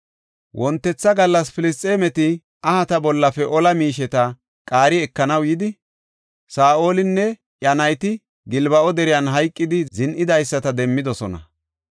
Wontetha gallas Filisxeemeti ahata bollafe ola miisheta qaari ekanaw yidi, Saa7olinne iya nayti Gilbo7a deriyan hayqidi, zin7idaysata demmidosona.